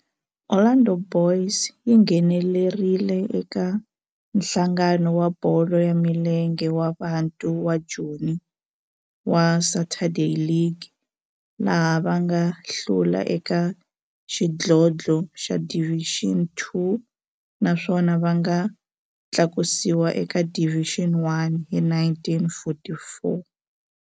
Orlando Boys yi nghenelerile eka Nhlangano wa Bolo ya Milenge wa Bantu wa Joni wa Saturday League, laha va nga hlula eka xidlodlo xa Division Two naswona va nga tlakusiwa eka Division One hi 1944.